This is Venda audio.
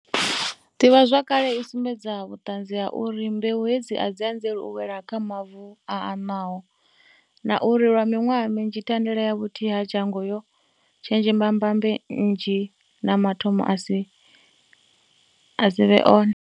Ḓivhazwakale i sumbedza vhuṱanzi ha uri mbeu hedzi a dzi anzeli u wela kha mavu a aṋwaho, na uri lwa miṅwaha minzhi thandela ya vhuthihi ha dzhango yo tshenzhema mbambe nnzhi na mathomo ane a si vhe one.